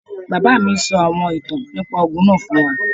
Bàbá mí sọ àwọn ìtàn nípá ogún náà fún wá